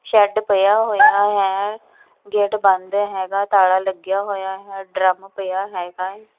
Shed ਪਿਆ ਹੋਇਆ ਹੈ ਗੇਟ ਬੰਦ ਹੈਗਾ ਤਾਲਾ ਲੱਗਿਆ ਹੋਇਆ ਹੈ ਡਰਮ ਪਿਆ ਹੈਗਾ ਏ।